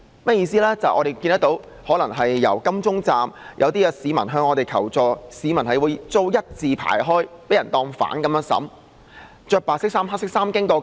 因為當晚在金鐘站，一些市民向我們求助，表示他們被警員要求一字排開，被當作罪犯般審問。